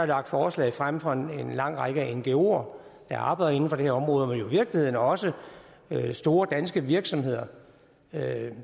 lagt forslag frem fra en lang række ngoer der arbejder inden for det område men i virkeligheden også fra store danske virksomheder